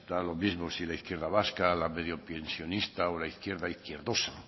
da lo mismo si la izquierda vasca la medio pensionista o la izquierda izquierdosa